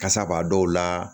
Kasa b'a dɔw la